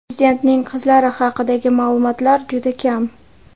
Prezidentning qizlari haqidagi ma’lumotlar juda kam.